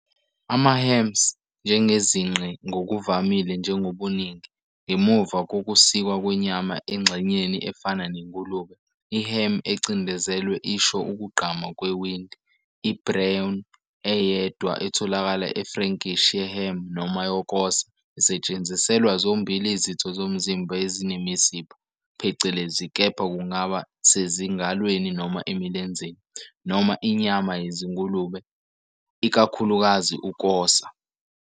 AmaHams, njengezinqe ngokuvamile njengobuningi, ngemuva kokusikwa kwenyama engxenyeni efana nengulube, i-ham ecindezelwe isho ukugqama kwewindi, i-brawn, eyedwa etholakala e-Frankish ye-ham noma yokosa, isetshenziselwa zombili izitho zomzimba ezinemisipha, phecelezi, kepha kungaba sezingalweni noma emilenzeni noma inyama yezingulube, ikakhulukazi ukosa.